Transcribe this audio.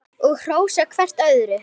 Og hrósa hvert öðru.